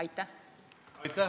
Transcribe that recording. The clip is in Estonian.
Aitäh!